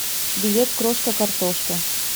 билет крошка картошка